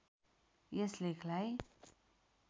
यस लेखलाई